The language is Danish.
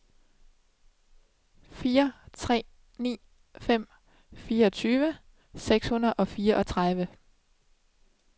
fire tre ni fem fireogtyve seks hundrede og fireogtredive